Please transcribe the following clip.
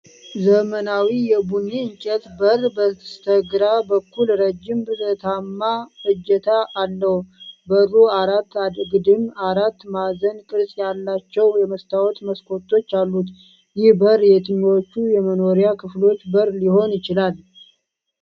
ዘመናዊ የቡኒ እንጨት በር በስተግራ በኩል ረጅም ብረታማ እጀታ አለው። በሩ አራት አግድም አራት ማዕዘን ቅርጽ ያላቸው የመስታወት መስኮቶች አሉት። ይህ በር የትኞቹ የመኖሪያ ክፍሎች በር ሊሆን ይችላል?